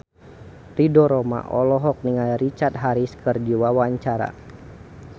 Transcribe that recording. Ridho Roma olohok ningali Richard Harris keur diwawancara